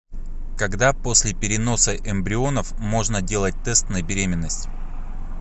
когда после переноса эмбрионов можно делать тест на беременность